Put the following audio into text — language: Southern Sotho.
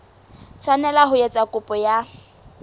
tshwanela ho etsa kopo ya